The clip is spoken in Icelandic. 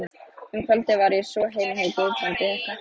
Um kvöldið var ég svo heima hjá Guðbrandi hreppstjóra.